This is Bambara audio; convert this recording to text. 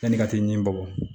Yanni i ka t'i ni bɔbɔ